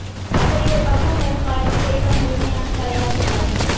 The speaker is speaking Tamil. அப்படி ஒரு பக்குவம் வரும் காலத்தில் திரைப்படம் முழுமையான கலையாக மாறும்